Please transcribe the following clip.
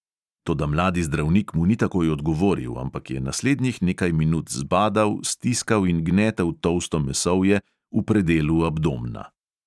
Toda mladi zdravnik mu ni takoj odgovoril, ampak je naslednjih nekaj minut zbadal, stiskal in gnetel tolsto mesovje v predelu abdomna.